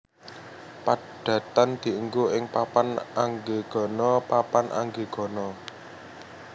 Padatan diènggo ing papan anggegana papan anggegana